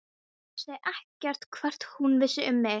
Ég vissi ekkert hvort hún vissi um mig.